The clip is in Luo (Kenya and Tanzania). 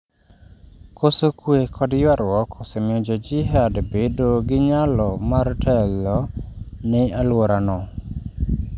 Koso kue kod ywaruok osemiyo jo jihad bedo gi nyalo mar telo ni alwora no